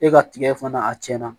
E ka tigɛ fana a tiɲɛna